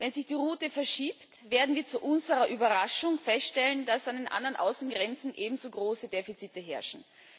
Wenn sich die Route verschiebt, werden wir zu unserer Überraschung feststellen, dass an den anderen Außengrenzen ebenso große Defizite herrschen.